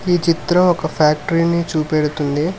ఈ చిత్రం ఒక ఫ్యాక్టరీని చూపెడుతుంది.